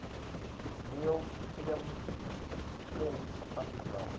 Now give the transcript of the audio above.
niels klim's underground